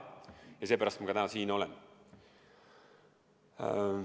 Ja seepärast ma täna siin olen.